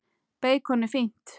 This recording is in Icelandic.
Beikon er fínt!